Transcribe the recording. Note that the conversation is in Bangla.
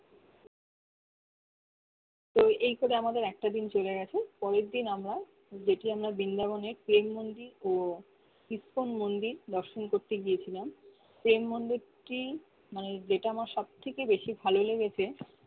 তো এই করে আমাদের একটা দিন চলে গেছে পরের দিন আমরা দেখলাম না বিন্দাবনের প্রেম মন্দির ও স্পন মন্দির দর্শন করতে গিয়েছিলাম প্রেম মন্দির টি মানে যেট আমার সব থেকে বেশি ভালো লেগেছে